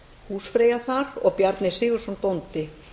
húsfreyja þar og bjarni sigurðsson bóndi